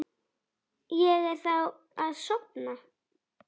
Ég þráði að sofna.